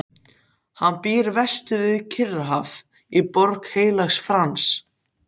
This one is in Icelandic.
Hann býr vestur við Kyrrahaf í Borg Heilags Frans.